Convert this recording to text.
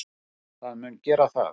Það mun gera það.